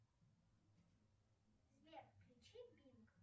сбер включи бинг